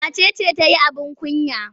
Wace ce ta yi abin kunya?